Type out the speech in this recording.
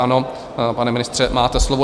Ano, pane ministře, máte slovo.